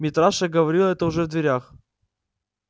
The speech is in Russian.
митраша говорил это уже в дверях